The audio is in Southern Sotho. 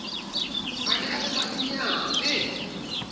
a ne a le manyenyane